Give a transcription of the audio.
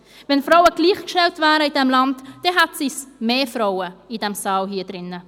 Wären Frauen in diesem Land gleichgestellt, befänden sich in diesem Saal mehr Frauen.